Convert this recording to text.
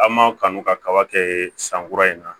An ma kanu ka kaba kɛ san kura in na